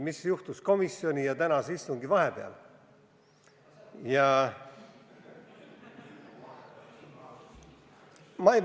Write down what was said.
Mis juhtus komisjoni istungi ja tänase istungi vahepeal?